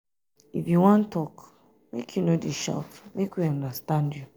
if you wan tok make you no dey shout make we understand you.